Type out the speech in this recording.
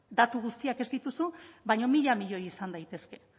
datu guztiak ez dituzu baina mila milioi izan daitezke e